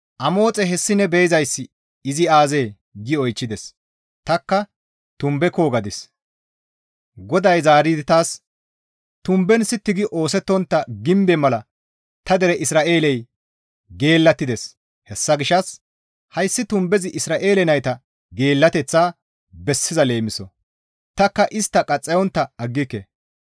Izikka, «Amoxe! Hessi ne be7izayssi izi aazee?» gi oychchides. Tanikka, «Tumbeko!» gadis. GODAY zaaridi taas, «Tumben sitti gi oosettontta gimbe mala ta dere Isra7eeley geellattides; hessa gishshas hayssi tumbezi Isra7eele nayta geellateththaa bessiza leemiso; tanikka istta qaxxayontta aggike.